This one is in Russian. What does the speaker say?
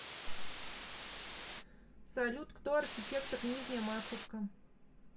салют кто архитектор нижняя масловка